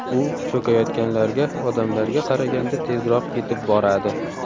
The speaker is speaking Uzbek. U cho‘kayotganlarga odamlarga qaraganda tezroq yetib boradi.